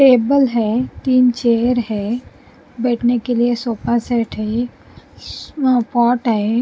table है तीन chair है बैठने के लिए सोफा सेट है शी म पॉट है --